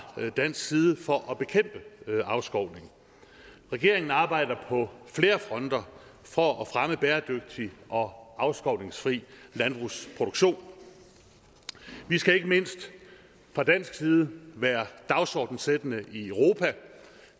dansk side for at bekæmpe afskovning regeringen arbejder på flere fronter for at fremme bæredygtig og afskovningsfri landbrugsproduktion vi skal ikke mindst fra dansk side være dagsordenssættende i europa